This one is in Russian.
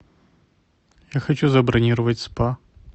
я хочу забронировать спа